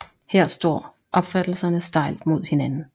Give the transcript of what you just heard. Her står opfattelserne stejlt mod hinanden